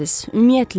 Ümumiyyətlə.